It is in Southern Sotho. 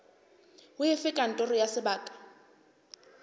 ho efe kantoro ya sebaka